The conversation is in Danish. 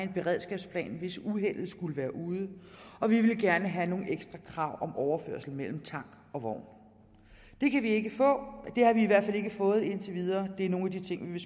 en beredskabsplan hvis uheldet skulle være ude og vi ville gerne have nogle ekstra krav om overførsel mellem tank og vogn det kan vi ikke få det har vi i hvert fald ikke fået indtil videre og det er nogle af de ting vi